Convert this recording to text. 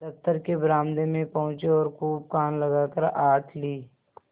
दफ्तर के बरामदे में पहुँचे और खूब कान लगाकर आहट ली